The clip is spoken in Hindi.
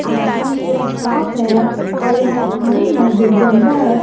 आसमान पूरा साफ है और यहां पानी है जो गंदा है।